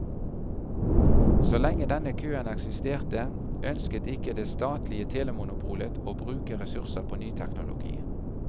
Så lenge denne køen eksisterte, ønsket ikke det statlige telemonopolet å bruke ressurser på ny teknologi.